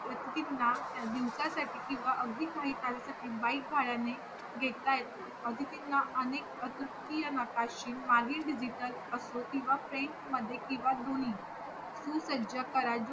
अतिथींना दिवसासाठी किंवा अगदी काही तासांसाठी bike भाडयाने घेता येतो अतिथी ना अनेक शसाकी नकाशे मागील digital असो किंवा फ्रेंच मध्ये किंवा दोन्ही सुसज्य